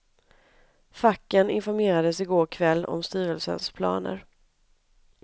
Facken informerades igår kväll om styrelsens planer.